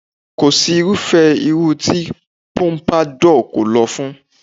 Kò si irúfé irun tí Pompadour kò lọ fún